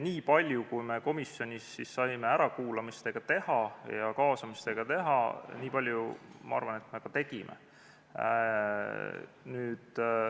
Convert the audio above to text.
Niipalju, kui me komisjonis saime ärakuulamiste ja kaasamistega teha, niipalju, ma arvan, me ka tegime.